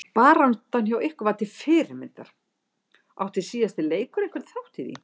Baráttan hjá ykkur var til fyrirmyndar, átti síðasti leikur einhvern þátt í því?